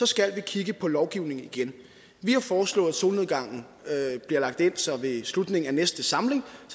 skal kigge på lovgivningen igen vi har foreslået at solnedgangen bliver lagt ind så folketinget ved slutningen af næste samling